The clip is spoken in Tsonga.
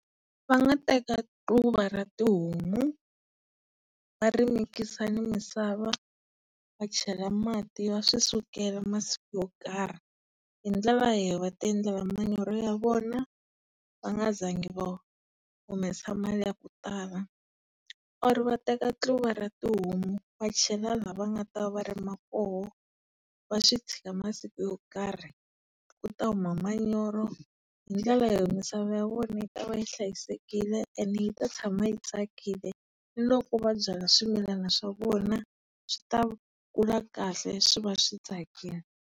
Va nga teka tluva ra tihomu, va ri mikisa ni misava, va chela mati va swisukela masiku yo karhi. Hi ndlela leyi va tiendlela manyoro ya vona, va nga zangi va humesa mali ya ku tala. Or va teka tluva ra tihomu wa chela la va nga ta va rima koho, va swi tshika masiku yo karhi, ku ta huma manyoro hi ndlela yo misava ya vona yi ta va yi hlayisekile ene yi ta tshama yi tsakile. Ni loko va byala swimilana swa vona swi ta kula kahle swi va swi tsakile.